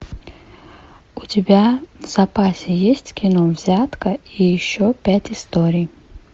у тебя в запасе есть кино взятка и еще пять историй